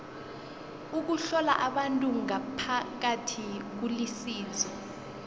ukuhlola abantu ngaphakathi kulisizo